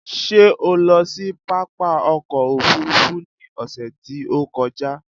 Ṣé o lọ sí pápá ọkò òfurufú ni ọ̀sè tí ó kọjá?